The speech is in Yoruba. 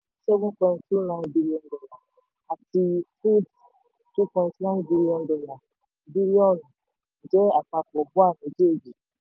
Seven point two nine billion dollar àti foods two point nine billion dollar bílíọ̀nù jẹ́ àpapọ̀ bua méjèèjì.